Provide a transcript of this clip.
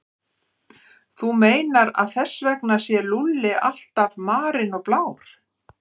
Þú meinar að þess vegna sé Lúlli alltaf marinn og blár?